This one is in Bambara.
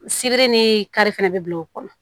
Sibiri ni kari fɛnɛ be bila o kɔnɔ